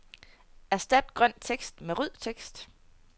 Erstat grøn tekst med rød tekst.